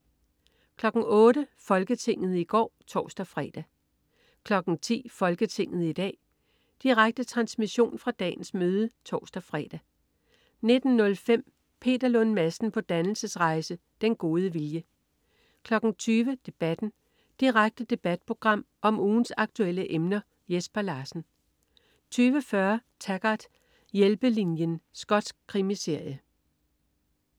08.00 Folketinget i går (tors-fre) 10.00 Folketinget i dag. Direkte transmission fra dagens møde (tors-fre) 19.05 Peter Lund Madsen på dannelsesrejse. Den gode vilje 20.00 Debatten. Direkte debatprogram om ugens aktuelle emner. Jesper Larsen 20.40 Taggart: Hjælpelinjen. Skotsk krimiserie